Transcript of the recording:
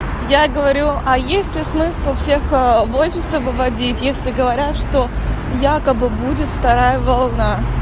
я говорю а есть ли смысл всех в офисы выводить если говорят что якобы будет вторая волна